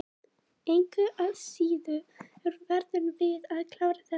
Engu að síður verðum við að klára þetta mót.